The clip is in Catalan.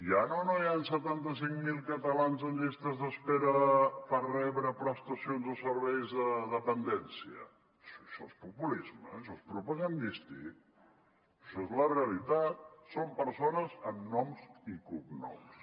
hi han o no hi han setanta cinc mil catalans en llistes d’espera per rebre prestacions o serveis de dependència això és populisme això és propagandístic això és la realitat són persones amb noms i cognoms